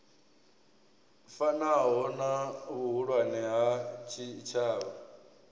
fanaho na vhuhulwane ha tshitshavha